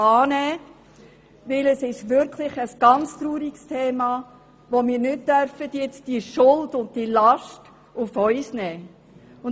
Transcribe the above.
Denn es handelt sich wirklich um ein sehr trauriges Thema, bei welchem wir die Schuld und die Last nicht auf uns nehmen dürfen.